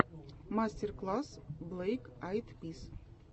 мастер класс блэк айд пис